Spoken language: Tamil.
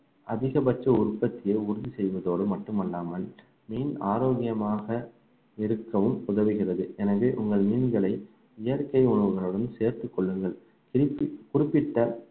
அதிகபட்ச உற்பத்தியை உறுதி செய்வதோடு மட்டுமல்லாமல் மீன் ஆரோக்கியமாக இருக்கவும் உதவுகிறது எனவே உங்கள் மீன்களை இயற்கை உணவுகளுடன் சேர்த்துக் கொள்ளுங்கள் திருப்பி குறிப்பிட்ட